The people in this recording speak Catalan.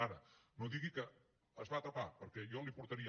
ara no digui que es va tapar perquè jo li portaria